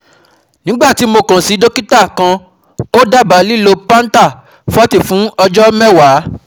Nígbà tí mo kàn sí dókítà kan, ó dábàá lílo Pantap-forty fún ọjọ́ mẹ́wàá